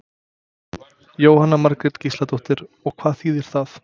Jóhanna Margrét Gísladóttir: Og hvað þýðir það?